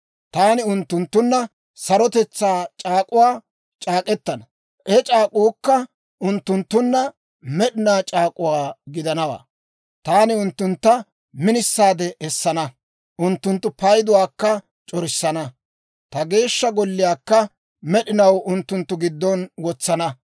Taani unttunttunna Sarotetsaa c'aak'uwaa c'aak'k'etana; he c'aak'uukka unttunttunna med'inaa c'aak'uwaa gidanawaa. Taani unttuntta minisaade essana; unttunttu payduwaakka c'orissana; ta Geeshsha Golliyaakka med'inaw unttunttu giddon wotsana.